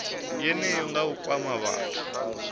yeneyo nga u kwama vhathu